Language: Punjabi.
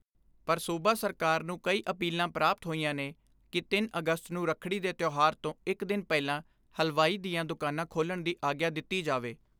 ਪਰ ਸੂਬਾ ਸਰਕਾਰ ਨੂੰ ਕਈ ਅਪੀਲਾਂ ਪ੍ਰਾਪਤ ਹੋਈਆਂ ਨੇ ਕਿ ਅਗਸਤ ਨੂੰ ਰੱਖੜੀ ਦੇ ਤਿਓਹਾਰ ਤੋਂ ਇਕ ਦਿਨ ਪਹਿਲਾਂ ਹਲਵਾਈ ਦੀਆਂ ਦੁਕਾਨਾਂ ਖੋਲ੍ਹਣ ਦੀ ਆਗਿਆ ਦਿੱਤੀ ਜਾਵੇ।